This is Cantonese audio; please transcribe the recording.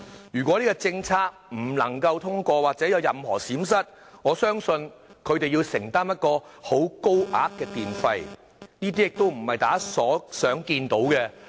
如果這項政策不能夠通過或有任何閃失，我相信他們將要承擔高昂的電費，而這並非大家想看到的情況。